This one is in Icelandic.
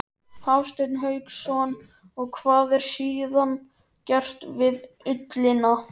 Hafsteinn Hauksson: Og hvað er síðan gert við ullina?